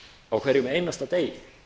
á hverjum einasta degi